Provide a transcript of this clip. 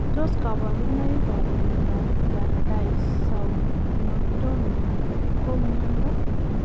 Tos kabarunoik ap miondoop daisaunotomia ko miondoo?